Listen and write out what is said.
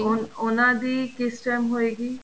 ਅਹ ਉਹਨਾ ਦੀ ਕਿਸ time ਹੋਏਗੀ